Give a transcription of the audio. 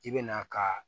I bɛ na ka